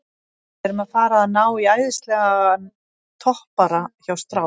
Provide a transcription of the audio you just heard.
Við erum að fara að ná í æðislegan toppara hjá strák